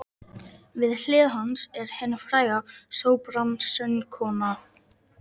Við hlið hans er hin fræga sópransöngkona